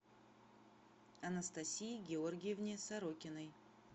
анастасии георгиевне сорокиной